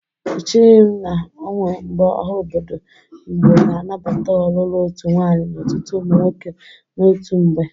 Echighi m na onwe mgbe ọha obodo Igbo ga-anabata ọlụlụ otu nwaanyị na ọtụtụ ụmụ nwoke n'otu mgbe.